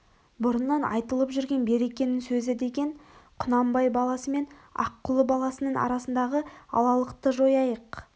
бұрыннан айтылып жүрген берекенің сөзі деген құнанбай баласы мен аққұлы баласының арасындағы алалықты жояйық